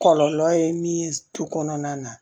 Kɔlɔlɔ ye min ye tu kɔnɔna na